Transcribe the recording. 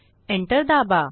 enter दाबा